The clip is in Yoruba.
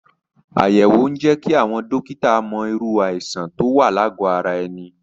Àyẹ̀wò ń jẹ́ kí àwọn dọ́kítà mọ irú àìsàn tó wà lágọ̀ ara ẹni.